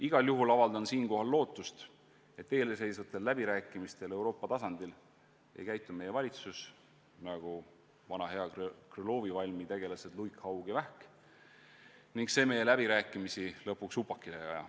Igal juhul avaldan siinkohal lootust, et eelseisvatel Euroopa tasandil peetavatel läbirääkimistel ei käitu meie valitsus nagu vana hea Krõlovi valmi tegelased luik, haug ja vähk ega aja meie läbirääkimisi lõpuks upakile.